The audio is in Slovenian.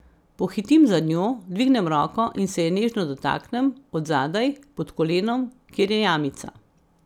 Pohitim za njo, dvignem roko in se je nežno dotaknem, od zadaj, pod kolenom, kjer je jamica.